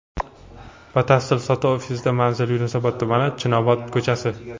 Batafsil sotuv ofisida Manzil: Yunusobod tumani, Chinobod ko‘chasi.